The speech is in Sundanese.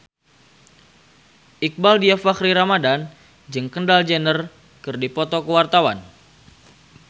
Iqbaal Dhiafakhri Ramadhan jeung Kendall Jenner keur dipoto ku wartawan